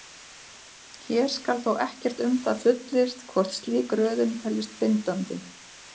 Hér skal þó ekkert um það fullyrt hvort slík röðun teljist bindandi.